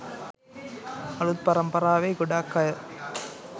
අලුත් පරම්පරාවේ ගොඩක් අය